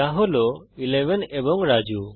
যা হল 11 এবং রাজু